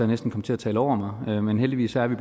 næsten kom til at tale over mig men heldigvis er vi